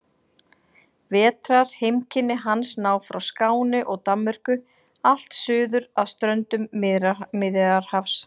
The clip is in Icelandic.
Vetrarheimkynni hans ná frá Skáni og Danmörku allt suður að ströndum Miðjarðarhafs.